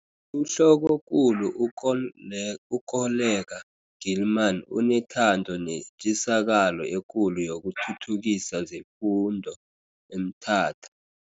UHlokokulu u-Koleka Gilman unethando netjisakalo ekulu yokuthuthukisa zefundo eMthatha.